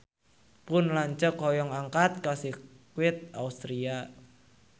Pun lanceuk hoyong angkat ka Sirkuit Austria